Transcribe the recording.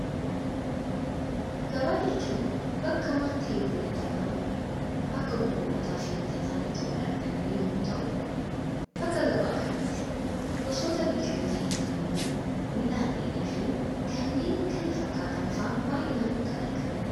Gabaa jechuun bakka waanti hedduun itti argamu, bakka gurgurataa fi bitataan itti wal argan yemmuu ta'u, bakka gabaa kanatti gosoota biqiloota nyaatamanii, midhaan dheedhii fi kanneen kana fakkaatan fa'aa baayyinaan kan argamanidha.